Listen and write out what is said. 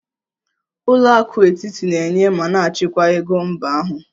Ụlọ akụ etiti na-enye ma na-achịkwa ego mba ahụ